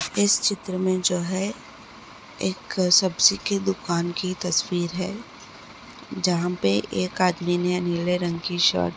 इस चित्र में जो है एक सब्जी की दुकान की तस्वीर है जहाँं पर एक आदमी ने नीले रंग की शर्ट --